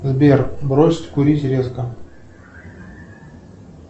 сбер бросить курить резко